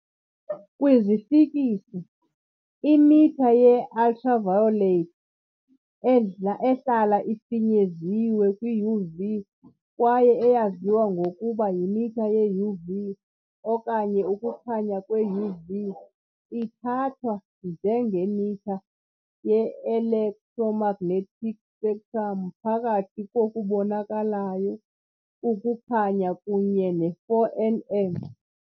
Kwifiziksi, imitha ye-ultraviolet, ehlala ifinyeziwe kwi-UV kwaye eyaziwa ngokuba yimitha ye-UV okanye ukukhanya kwe-UV, ithathwa njengemitha ye -electromagnetic spectrum phakathi kokubonakalayo ukukhanya kunye ne -4 nm .